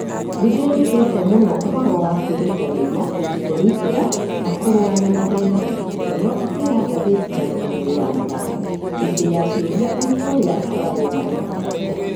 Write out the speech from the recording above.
Nĩndĩrutite mũno uhoro wa kũĩrutanĩria, kũĩrutĩra na kũrũa na mathĩna,'Gĩkonyo akĩĩra ngatheti ya Kĩmũrĩ ya mathako hĩndĩ ya cĩuria arĩ kũrĩa akoragwo Maĩ Mahiũ